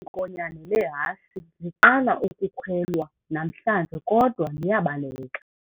Eli nkonyane lehashi liqala ukukhwelwa namhlanje kodwa liyabaleka.